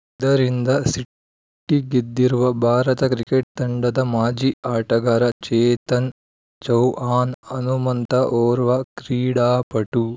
ಇದರಿಂದ ಸಿಟ್ಟಿಗೆದ್ದಿರುವ ಭಾರತ ಕ್ರಿಕೆಟ್‌ ತಂಡದ ಮಾಜಿ ಆಟಗಾರ ಚೇತನ್‌ ಚೌಹಾಣ್‌ ಹನುಮಂತ ಓರ್ವ ಕ್ರೀಡಾಪಟು